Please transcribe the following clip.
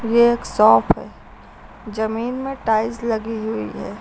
यह एक शॉप है जमीन में टाइल्स लगी हुई है।